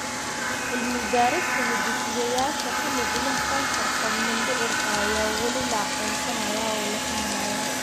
Cilmi-baarista hidde-sideyaasha ku lug leh kansarka mindhicirka ayaa weli la aqoonsanayaa oo la fahmayaa.